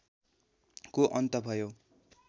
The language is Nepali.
को अन्त भयो